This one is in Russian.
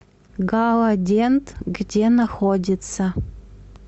галадент где находится